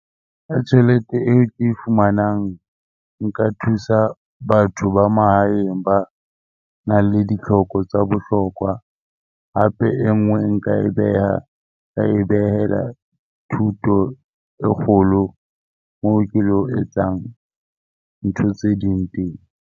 Tjhelete e ke e fumanang nka thusa batho ba mahaeng ba nang le ditlhoko tsa bohlokwa. Hape e nngwe nka e beha nka e behela thuto e kgolo, moo ke lo etsang ntho tse ding teng.